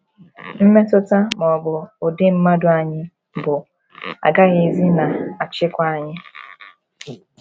Mmetụta ma ọ bụ ụdị mmadụ anyị bụ agaghịzi na - achịkwa anyị.